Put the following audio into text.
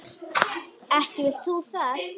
Ekki vilt þú það?